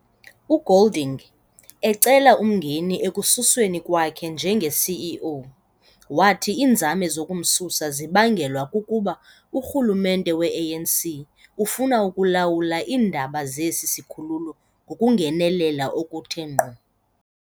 UGolding, ecela umngeni ekususweni kwakhe njenge-CEO, wathi iinzame zokumsusa zibangelwa kukuba urhulumente weANC ufuna ukulawula iindaba zesi sikhululo ngokungenelela okuthe ngqo.